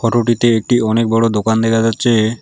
ফটোটিতে একটি অনেক বড় দোকান দেখা যাচ্ছে।